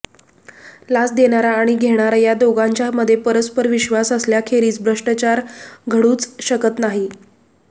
लाच देणारा आणि घेणारा या दोघांच्यामधे परस्परविश्वास असल्याखेरीज भ्रष्टाचार घडूच शकत नाही